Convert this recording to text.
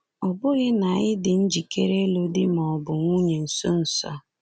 Ọ bụghị na ị dị njikere ịlụ di ma ọ bụ nwunye nso nso a.